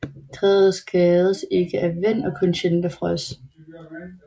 Træet skades ikke af vind og kun sjældent af frost